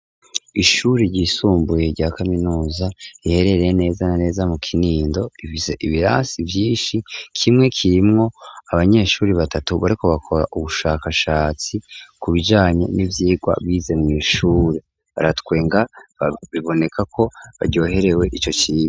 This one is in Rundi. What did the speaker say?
Ishuri ryisumbuye rya kaminuza, riherereye neza na neza mu Kinindo, rifise ibirasi vyinshi, kimwe kirimwo abanyeshuri batatu bariko bakora ubushakashatsi, ku bijanye n'ivyigwa bize mw'ishuri. Baratwenga, biboneka ko baryoherewe ico cigwa.